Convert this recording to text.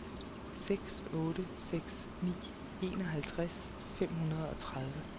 seks otte seks ni enoghalvtreds fem hundrede og tredive